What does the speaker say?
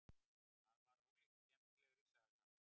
Það var ólíkt skemmtilegri saga.